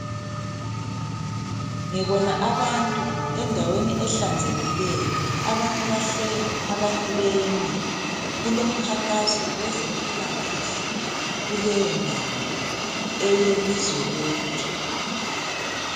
Ngibona abantu endaweni ehlanzekileyo. Abanye bahleli, abanye bemi. Kulomkhankaso wezempilakahle kuleyondawo, eyelizwe lonke.